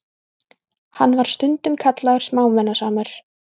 Hann var stundum kallaður smámunasamur.